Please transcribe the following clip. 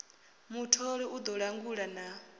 mutholi u ḓo langula na